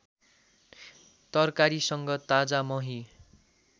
तरकारीसँग ताजा मही